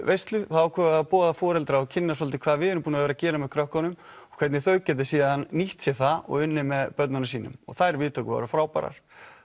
þá ákváðum við að boða foreldra og kynna svolítið hvað við erum búin að vera að gera með krökkunum og hvernig þau geti síðan nýtt sér það og unnið með börnunum sínum þær viðtökur voru frábærar